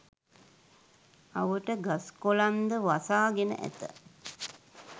අවට ගස් කොළන් ද වසා ගෙන ඇත.